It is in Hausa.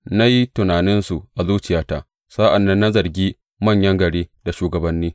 Na yi tunaninsu a zuciyata sa’an nan na zargi manyan gari da shugabanni.